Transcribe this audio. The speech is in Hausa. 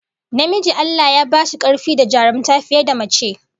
Namiji Allah Ya ba shi karfi da jarumta fiye da mace